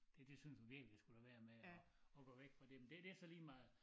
Det synes hun virkelig jeg skulle lade være med at at gå væk fra det men det det så lige meget